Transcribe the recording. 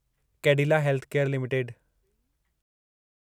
Cadila healthcare limited